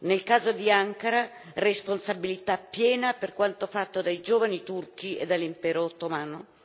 Nel caso di Ankara, responsabilità piena per quanto fatto dai giovani turchi e dall'impero ottomano.